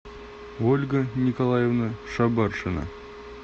ольга николаевна шабаршина